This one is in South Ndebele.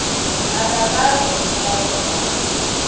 ababawi iimbawo zabo